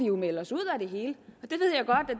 jo melde os ud af det hele